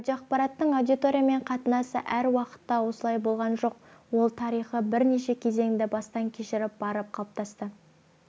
радиоақпараттың аудиториямен қатынасы әр уақытта осылай болған жоқ ол тарихи бірнеше кезеңді бастан кешіріп барып қалыптасты